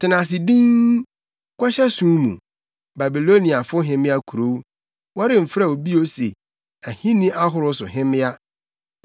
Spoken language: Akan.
“Tena ase dinn, kɔhyɛ sum mu, Babiloniafo hemmea kurow; wɔremfrɛ wo bio se ahenni ahorow so hemmea.